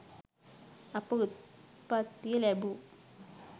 අප උප්පත්තිය ලැබූ